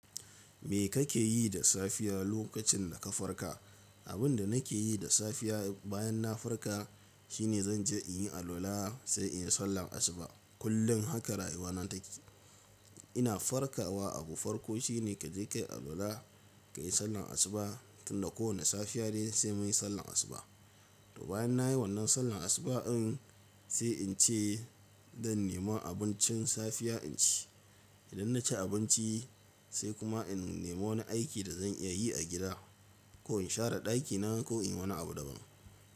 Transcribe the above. Me kake yi da safiya lokacin da ka farka? Abin da nake yi da safiya bayan na farka shine zan je in yi alwala sai in yi sallar asuba. Kullum haka rayuwa na take. Ina farkawa abu farko shine kaje kayi alwala, kayi sallar asuba tunda kowane safiya dai sai munyi sallar asuba. To bayan nayi wannan sallar asuba in sai in ce zan nema abincin safiya in ci. Idan na ci abinci sai kuma in nema wani aiki da zan iya yi a gida ko in share ɗakina ko in yi wani abu daban.